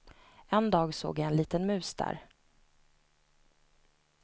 En dag så jag en liten mus där.